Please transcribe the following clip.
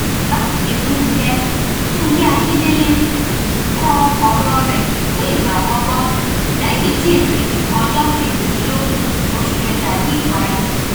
báyìí ni fúnkẹ fúnkẹ akíndélé kọ ọrọ rẹ fún ìgbà àkọkọ lẹyìn tí ètò ìdìbò ọjọ kejìdínlógún oṣù kẹta yìí parí